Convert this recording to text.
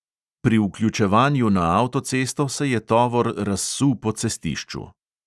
Pri vključevanju na avtocesto se je tovor razsul po cestišču.